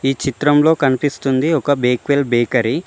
ఈ చిత్రంలో కనిపిస్తుంది ఒక బేక్వెల్ బేకరీ .